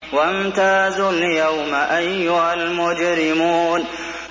وَامْتَازُوا الْيَوْمَ أَيُّهَا الْمُجْرِمُونَ